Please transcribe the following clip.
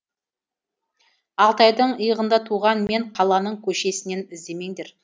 алтайдың иығында туған мен қаланың көшесінен іздемеңдер